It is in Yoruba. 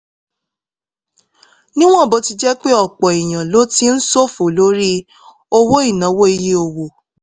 níwọ̀n bó ti jẹ́ pé ọ̀pọ̀ èèyàn ló ti ń ṣòfò lórí owó ìnáwó iye owó